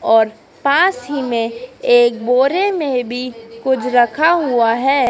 और पास ही में एक बोरे में भी कुछ रखा हुआ है।